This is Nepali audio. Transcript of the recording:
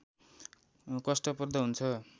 कष्टप्रद हुन्छ